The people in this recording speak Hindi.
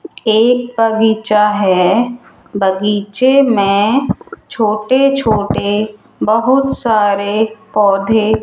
एक बगीचा है बगीचे में छोटे छोटे बहुत सारे पौधे --